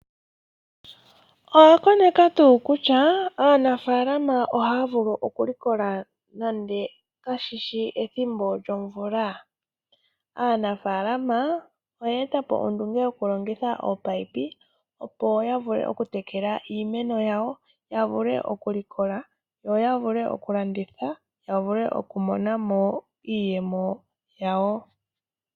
Owakoneka tuu kutya aanafaalama ohaya vulu oku likola nande kashishi ethimbo lyomvula. Aanafaalama oye etapo ondunge yokulongitha ominino opo yavule oku tekela iimeno yawo, yavule oku likola ,yavule oku landithwa yo yavule oku monamo iiyemo yawo.